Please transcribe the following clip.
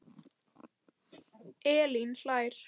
Elín hlær.